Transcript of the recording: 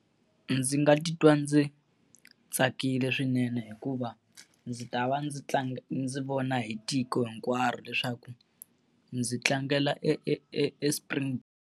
Ndzi nga titwa ndzi tsakile swinene hikuva ndzi ta va ndzi ndzi vona hi tiko hinkwaro leswaku ndzi tlangela e e e Springboks.